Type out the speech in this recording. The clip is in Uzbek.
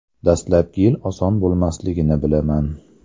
Dastlabki yil oson bo‘lmasligini bilaman.